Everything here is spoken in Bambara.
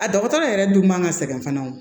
A dɔgɔtɔrɔ yɛrɛ dun man ka sɛgɛn fana o